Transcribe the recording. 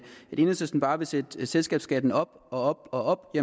enhedslisten bare vil sætte selskabsskatten op og op